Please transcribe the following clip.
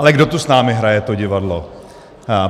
Ale kdo tu s námi hraje to divadlo?